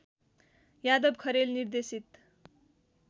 यादव खरेल निर्देशित